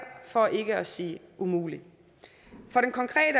for ikke at sige umuligt